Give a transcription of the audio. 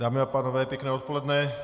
Dámy a pánové, pěkné odpoledne.